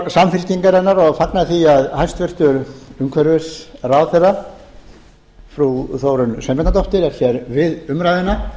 samfylkingarinnar og fagna því að hæstvirtur umhverfisráðherra frú þórunn sveinbjarnardóttir er hér við umræðuna